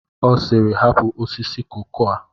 Ọ sịịrị, hapụ osisi koko a!